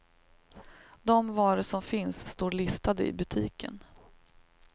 De varor som finns står listade i butiken.